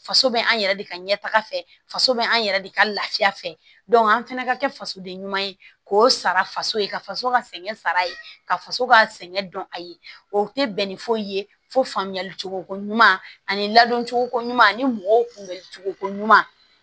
Faso bɛ an yɛrɛ de ka ɲɛ taga fɛ faso bɛ an yɛrɛ de ka lafiya fɛ an fana ka kɛ fasoden ɲuman ye k'o sara faso ye ka faso ka sɛgɛn sara a ye ka faso ka sɛgɛn dɔn a ye o tɛ bɛn ni foyi fo faamuyali cogo ko ɲuman ani ladon cogoko ɲuman ani mɔgɔw kunbɛli cogoko ɲuman